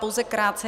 Pouze krátce.